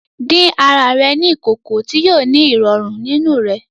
Dín àrà rẹ ní ìkòkò ti yóò ni irọrun nínú rẹ